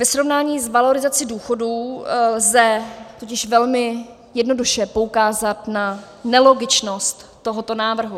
Ve srovnání s valorizací důchodů lze totiž velmi jednoduše poukázat na nelogičnost tohoto návrhu.